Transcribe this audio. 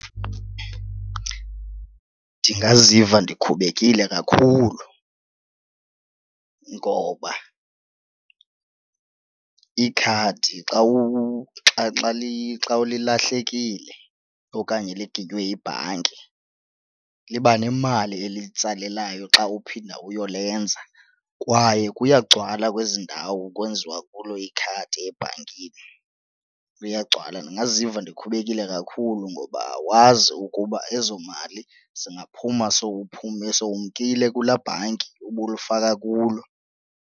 Ndingaziva ndikhubekile kakhulu ngoba ikhadi xa lilahlekile okanye liginywe yibhanki liba nemali eliyitsalelayo xa uphinda uyolenza kwaye kuyagcwala kwezi ndawo kwenziwa kulo ikhadi ebhankini, kuyagcwala. Ndingaziva ndikhubekile kakhulu ngoba awazi ukuba ezo mali zingaphuma sowumkile kulaa bhanki ubulifaka kulo.